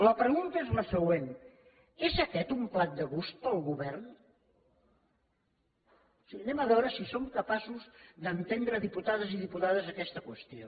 la pregunta és la següent és aquest un plat de gust per al govern o sigui anem a veure si som capaços d’entendre diputades i diputats aquesta qüestió